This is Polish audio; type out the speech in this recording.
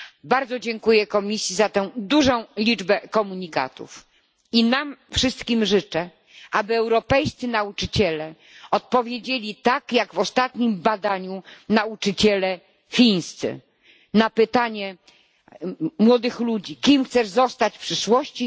Bardzo dziękuję Komisji za tę dużą liczbę komunikatów i nam wszystkim życzę, aby europejscy nauczyciele odpowiedzieli tak jak w ostatnim badaniu nauczyciele chińscy na pytanie młodych ludzi kim chcesz zostać w przyszłości?